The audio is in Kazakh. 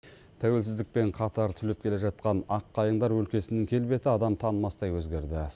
тәуелсіздікпен қатар түлеп келе жатқан ақ қайыңдар өлкесінің келбеті адам танымастай өзгерді